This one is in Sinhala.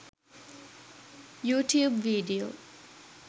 youtube video